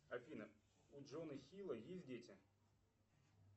афина у джона хилла есть дети